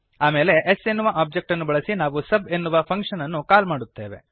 ಆಮೇಲೆ s ಎನ್ನುವ object ಅನ್ನು ಬಳಸಿ ನಾವು ಸಬ್ ಎನ್ನುವ ಫಂಕ್ಶನ್ ಅನ್ನು ಕಾಲ್ ಮಾಡುತ್ತೇವೆ